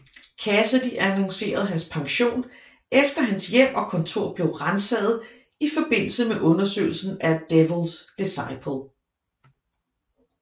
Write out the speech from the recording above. Cassidy annoncerede hans pension efter hans hjem og kontor blev ransaget i forbindelse med undersøgelsen af Devils Diciple